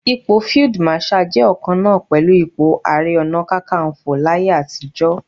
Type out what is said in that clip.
Ipò Field Marshal jẹ́ ọ̀kan náà pẹ̀lú ipò Ààrẹ Ọ̀nà Kakaǹfò láyé àtijọ́.